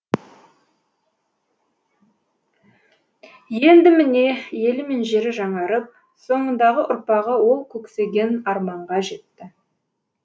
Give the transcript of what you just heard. енді міне елі мен жері жаңарып соңындағы ұрпағы ол көксеген арманға жетті